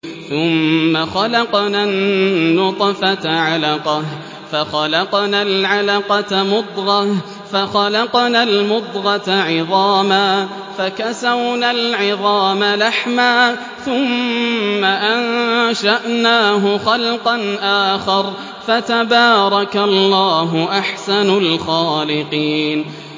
ثُمَّ خَلَقْنَا النُّطْفَةَ عَلَقَةً فَخَلَقْنَا الْعَلَقَةَ مُضْغَةً فَخَلَقْنَا الْمُضْغَةَ عِظَامًا فَكَسَوْنَا الْعِظَامَ لَحْمًا ثُمَّ أَنشَأْنَاهُ خَلْقًا آخَرَ ۚ فَتَبَارَكَ اللَّهُ أَحْسَنُ الْخَالِقِينَ